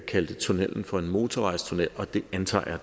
kaldte tunnellen for en motorvejstunnel og det antager